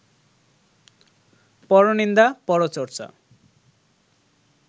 পরনিন্দা, পরচর্চা